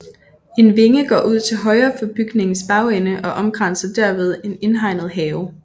En vinge går ud til højre for bygningens bagende og omkranser derved en indhegnet have